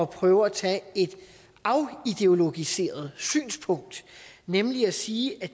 prøve at tage et afideologiseret synspunkt nemlig at sige at